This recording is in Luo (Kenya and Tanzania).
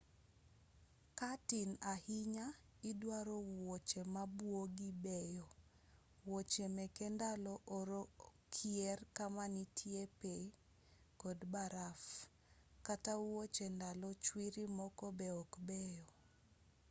ka tin ahinya idwaro wuoche mabuogii beyo wuoche meke ndalo oro kier kama nitie pee kod baraf kata wuoche ndalo chwiri moko be ok beyo